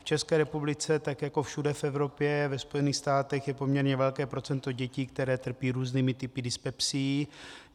V České republice, tak jako všude v Evropě, ve Spojených státech, je poměrně velké procento dětí, které trpí různými typy dyspepsií.